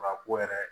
A ko yɛrɛ